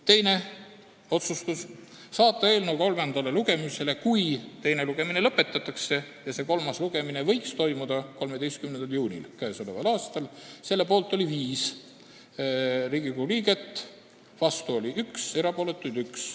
Teine otsus: saata eelnõu kolmandale lugemisele, kui teine lugemine lõpetatakse, ja see kolmas lugemine võiks toimuda 13. juunil k.a. Selle poolt oli 5 Riigikogu liiget, vastu oli 1, erapooletuks jäi 1.